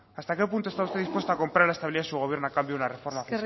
hasta qué punto está usted dispuesto a comprar la estabilidad de su gobierno a cambio de una reforma